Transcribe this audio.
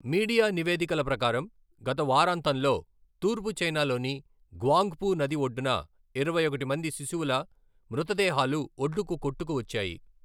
Media నివేదికల ప్రకారం, గత వారాంతంలో తూర్పు చైనాలోని గ్వాంగ్ఫు నది ఒడ్డున ఇరవై ఒకటి మంది శిశువుల మృతదేహాలు ఒడ్డుకు కొట్టుకు వచ్చాయి.